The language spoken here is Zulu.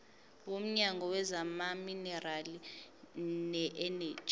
womnyango wezamaminerali neeneji